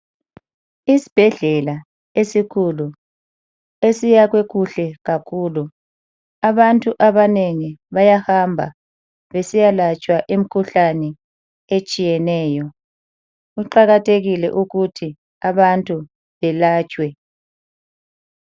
Isibhedlela esikhulu esiyakhwe kuhle kakhulu. Abantu abanengi bayahamba besiyalatshwa imikhuhlane etshiyeneyo. Kuqakathekile ukuthi abantu belatshwe.